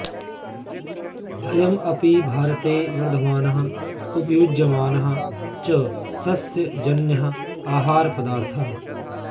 अयम् अपि भारते वर्धमानः उपयुज्यमानः च सस्यजन्यः आहारपदार्थः